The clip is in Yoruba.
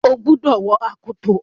Ó gbúdọ̀ wọ akoto!